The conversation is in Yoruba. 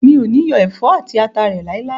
Mi o ni yọ ẹfọ ati ata re lailai.